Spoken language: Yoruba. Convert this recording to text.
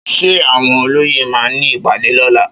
Ṣé àwọn olóyè ma ní ìpàdé lóla?